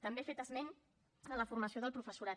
també ha fet esment de la formació del professorat